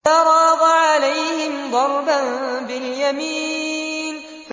فَرَاغَ عَلَيْهِمْ ضَرْبًا بِالْيَمِينِ